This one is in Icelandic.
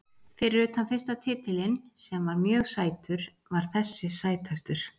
Fyrir utan fyrsta titilinn sem var mjög sætur var þessi sætastur.